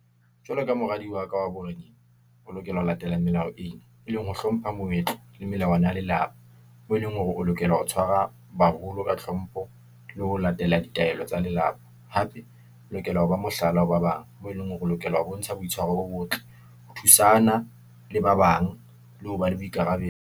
Jwalo ka moradi wa ka wa boreneng, o lokela ho latela melao eo, e leng ho hlompha moetlo le melawana ya lelapa. Moo eleng hore o lokela ho tshwara baholo ka hlompho, le ho latela ditaelo tsa lelapa, hape o lokela ho ba mohlala ho ba bang, moo e leng ho re lokela ho bontsha boitshwaro bo botle, ho thusana le ba bang, le ho ba le boikarabelo.